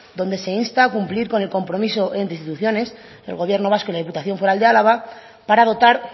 donde se insta a cumplir con el compromiso entre instituciones del gobierno vasco y la diputación foral de álava para dotar